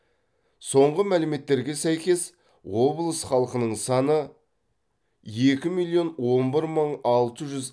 соңғы мәліметтерге сәйкес облыс халқының саны екі миллион он бір мың алты жүз